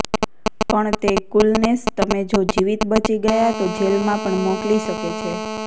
પણ તે કૂલનેસ તમે જો જીવત બચી ગયા તો જેલમાં પણ મોકલી શકે છે